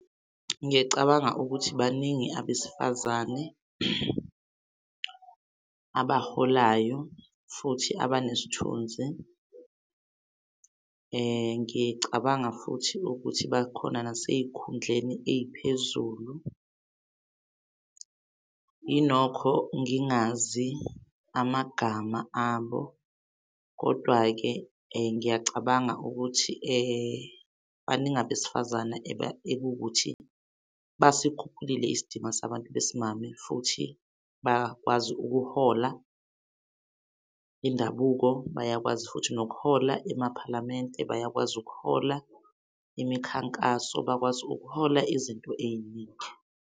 Ngiyacabanga ukuthi baningi abesifazane abaholayo futhi abanesithunzi. Ngicabanga futhi ukuthi bakhona nasey'khundleni ey'phezulu. Inokho ngingazi amagama abo kodwa-ke ngiyacabanga ukuthi baningi abesifazane ekuwukuthi basikhuphulile isidima sabantu besimame futhi bakwazi ukuhola indabuko. Bayakwazi futhi nokuhola amaphalamende bayakwazi ukuhola imikhankaso, bakwazi ukuhola izinto ey'ningi.